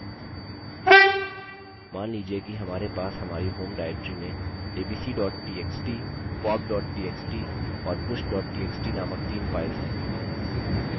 मान लीजिए कि हमारे pop हमारी home directory में abc txt pop txt और push txt named तीन files हैं